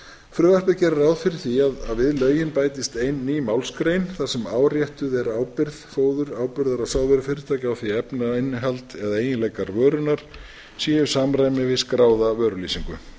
frumvarpið gerir ráð fyrir því að við lögin bætist ein ný málsgrein þar sem áréttuð er ábyrgð fóður áburðar og sáðvörufyrirtækja á því að efnainnihald og eiginlegikar vörunnar séu í samræmi við skráða vörulýsingu